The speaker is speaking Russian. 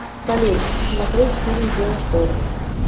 салют смотерть фильм геошторм